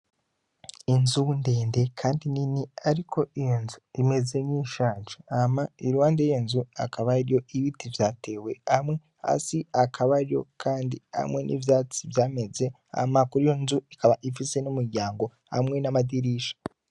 Inzu ndede kandi nini, ariko iyo nzu imeze nk'iyishaje. Hama iruhande y'iyo nzu hakaba hari ibiti vyatewe hasi hakabayo kandi, hamwe n'ivyatsi vyameze. Hama iyo nzu ikaba ifise n'umuryango hamwe n'amadirisha.